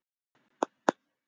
Bara alla sem ég get!